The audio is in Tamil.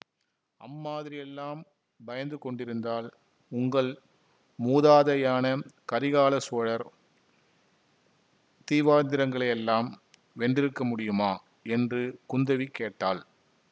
அம்மாதிரியெல்லாம் பயந்து கொண்டிருந்தால் உங்கள் மூதாதையான கரிகாலசோழர் தீவாந்திரங்களையெல்லாம் வென்றிருக்க முடியுமா என்று குந்தவி கேட்டாள்